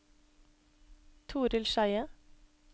Torill Skeie